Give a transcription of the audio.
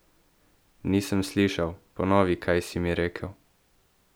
Nisem slišal, ponovi, kaj si mi rekel?